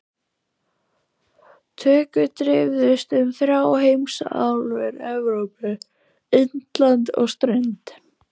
Tökur dreifðust um þrjár heimsálfur- Evrópu, Indland og strönd